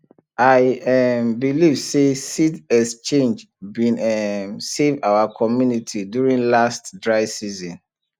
i um believe say seed exchange bin um save our community during last dry season